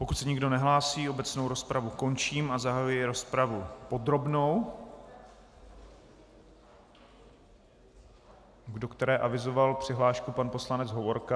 Pokud se nikdo nehlásí, obecnou rozpravu končím a zahajuji rozpravu podrobnou, do které avizoval přihlášku pan poslanec Hovorka.